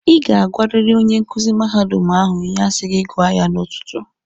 Ị ga-agwariri onye nkuzi mahadum ahụ ihe asi gị gwa ya n'ụtụtụ